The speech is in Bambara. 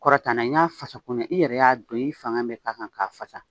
Kɔrɔta n'a ye n y'a fasa ko ɲɛ i yɛrɛ y'a don i fanga bɛ k'a kan k'a fasa